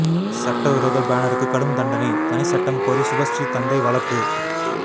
சட்டவிரோத பேனருக்கு கடும் தண்டனை தனி சட்டம் கோரி சுபஸ்ரீ தந்தை வழக்கு